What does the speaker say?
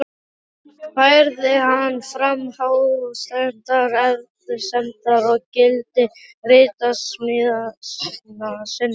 Færði hann fram hástemmdar efasemdir um gildi ritsmíða sinna.